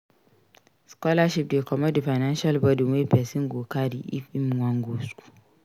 Scholarship dey comot di financial buden wey person go carry if im wan go school